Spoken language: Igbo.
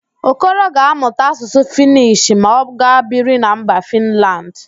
Okoro ga-amụta Asụsụ Fịnish ma ọ gaa biri na mba Fịnland